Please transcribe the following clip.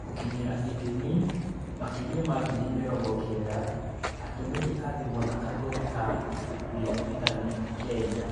Gũkinyĩra / ithimi: Makĩria ma ngiri mĩrongo kenda atũmĩri a thimũ na athomi a ibuku rĩa intaneti Kenya